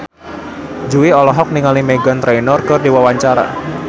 Jui olohok ningali Meghan Trainor keur diwawancara